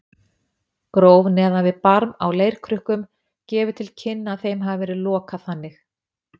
Gróf neðan við barm á leirkrukkum gefur til kynna að þeim hafi verið lokað þannig.